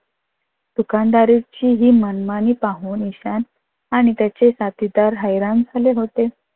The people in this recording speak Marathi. दुकानदाराची ही मनमानी पाहून ईशान आणि त्याचे साथीदार हैराण झाले होते.